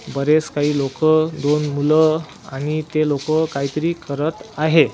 बरेच काही लोकं दोन मुलं आणि ते लोकं काहीतरी करत आहे.